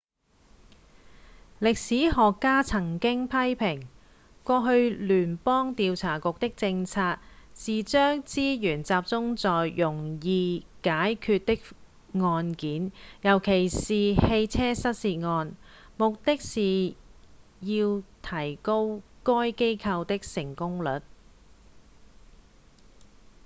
歷史學家曾經批評過去聯邦調查局的政策是將資源集中在容易解決的案件尤其是汽車失竊案目的是要提高該機構的成功率